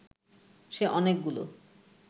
সে অনেকগুলো